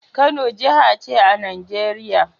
Kano jaha ce a Nigeria